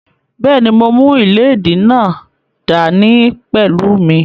Bẹ́ẹ̀ni, mo mú ìléèdí náà dá ní pẹ̀lú mí